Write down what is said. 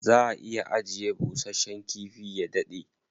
Za a iya ajiye bushasshen kifi ya daɗe.